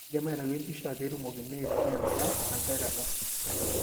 kindim aitayu empicha petumokini aingura tenkae kata.